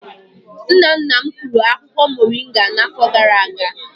Nna nna m kụrụ akwukwo moringa n'afọ gara-aga.